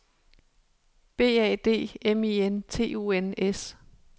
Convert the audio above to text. B A D M I N T O N S